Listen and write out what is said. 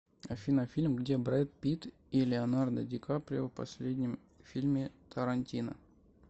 афина фильм где брэд пит и леонардо ди каприо в последнем фильме тарантино